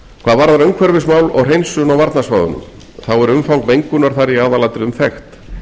hvað varðar umhverfismál og hreinsun á varnarsvæðunum þá er umfang mengunar þar í aðalatriðum þekkt